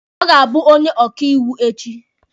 Ọ ga-abụ onye ọkaiwu echi.